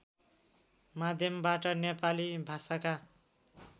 माध्यमबाट नेपाली भाषाका